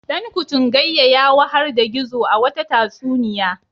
Dankutungayya ya wahar da Gizo a wata tatsuniya.